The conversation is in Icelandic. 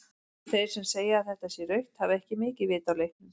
Þeir sem segja að þetta sé rautt hafa ekki mikið vit á leiknum.